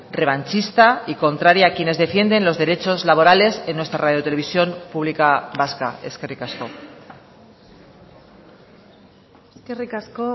revanchista y contraria a quienes defienden los derechos laborales en nuestra radio televisión pública vasca eskerrik asko eskerrik asko